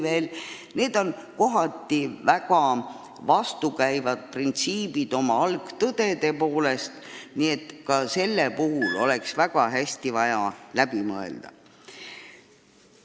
Need on oma algtõdede poolest mõnes mõttes väga vastukäivad printsiibid, nii et ka see külg oleks vaja väga hästi läbi mõelda.